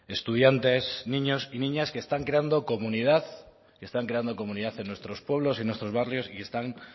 estudiantes niños y niñas que están creando comunidad que están quedando comunidad en nuestros pueblos y en nuestros barrios y que están